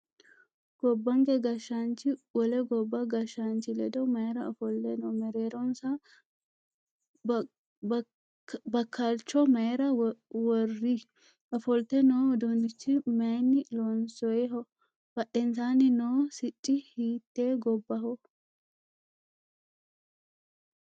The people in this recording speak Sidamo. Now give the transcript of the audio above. Gobbanke gashshaanchi wole gobba gashshaanchi ledo mayiira ofolle noo? Mereeronsano bakkalicho mayiira worri? Ofolte noo uduunnichi mayiinni loonsoyiho? Badheensaanni noo sicci hiitte gobbaho?